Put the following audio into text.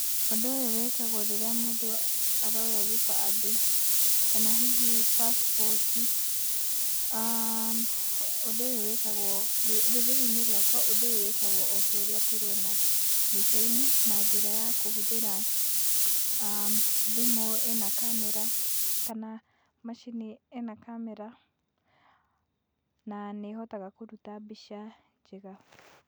Ũndũ ũyũ wĩkagwo rĩrĩa mũndũ aroya gĩbandĩ kana hihi passport i. Ũndũ ũyũ wĩkakagwo. Rũrĩrĩ-inĩ rwakwa ũndũ ũyũ wĩkagwo o ta ũrĩa tũrona mbica-inĩ na njĩra ya kũhũthĩra thimũ ĩna kamera kana macini ĩna kamera na nĩ ĩhotaga kũruta mbica njega.